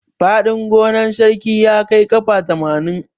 Fadin gonan sarki ya kai kafa tamanin.